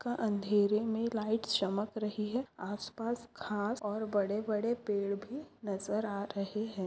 का अंधरे मे लाइट चमक रही है आसपास घास और बड़े बड़े पेड़ भी नजर आ रहे है।